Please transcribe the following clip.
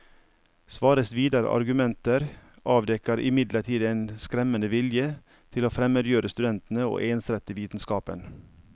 Svares videre argumenter avdekker imidlertid en skremmende vilje til å fremmedgjøre studentene og ensrette vitenskapen.